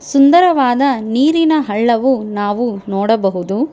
ಸುಂದರವಾದ ನೀರಿನ ಹಳ್ಳವು ನಾವು ನೋಡಬಹುದು.